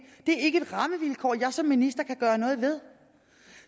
det er ikke et rammevilkår jeg som minister kan gøre noget ved